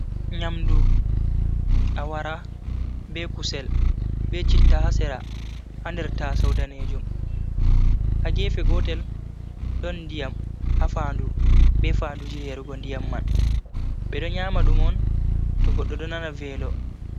Nyamdu, awara, be kusel, be citta ha sera ha nder taasau danejum. Ha gefe gotel, ɗon ndiyam ha fanɗu be fandu je yarugo ndiyam man. Ɓe don nyama dum un to goɗɗo ɗo nana velo.